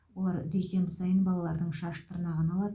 олар дүйсенбі сайын балалардың шаш тырнағын алады